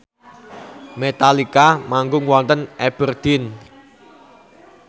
Metallica manggung wonten Aberdeen